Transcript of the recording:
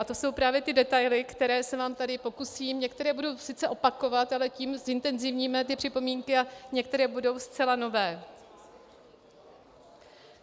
A to jsou právě ty detaily, které se vám tady pokusím - některé budu sice opakovat, ale tím zintenzivníme ty připomínky, a některé budou zcela nové.